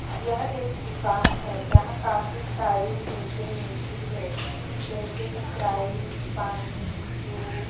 यह एक दुकान है यहा काफी सारी चिजे मिलती है जैसे स्प्राइट पानी जूस --